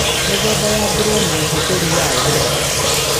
Mĩthemba ya ngũrũwe na ũhũthĩri wayo